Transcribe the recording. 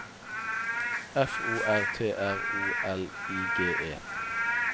F O R T R O L I G E